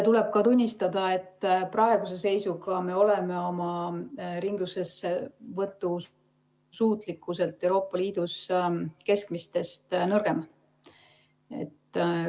Tuleb tunnistada, et praeguse seisuga me oleme oma ringlussevõtu suutlikkuselt Euroopa Liidus keskmisest nõrgem.